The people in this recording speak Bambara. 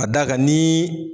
A da ka nin.